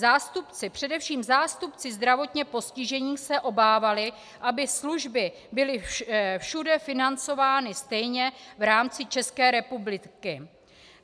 Zástupci - především zástupci zdravotně postižených, se obávali, aby služby byly všude financovány stejně v rámci České republiky.